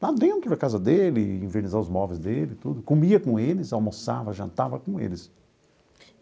lá dentro da casa dele, envernizar os móveis dele, tudo, comia com eles, almoçava, jantava com eles.